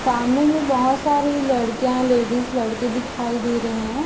सामने में बहोत सारी लड़कियाँ-लेडीज लड़के दिखाई दे रहे है।